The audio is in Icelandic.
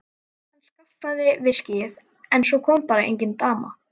Hann skaffaði viskíið en svo kom bara engin dama.